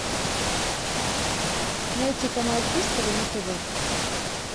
найти канал хистори на тв